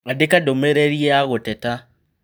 Andĩka ndũmĩrĩri ya gũteta